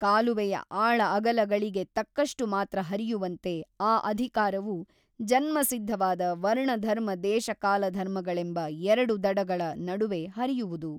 ಕಾಲುವೆಯ ಆಳ ಅಗಲಗಳಿಗೆ ತಕ್ಕಷ್ಟು ಮಾತ್ರ ಹರಿಯುವಂತೆ ಆ ಅಧಿಕಾರವು ಜನ್ಮಸಿದ್ಧವಾದ ವರ್ಣಧರ್ಮ ದೇಶಕಾಲಧರ್ಮಗಳೆಂಬ ಎರಡು ದಡಗಳ ನಡುವೆ ಹರಿಯುವುದು.